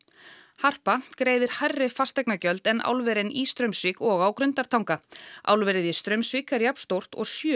harpa greiðir hærri fasteignagjöld en álverin í Straumsvík og á Grundartanga álverið í Straumsvík er jafnstórt og sjö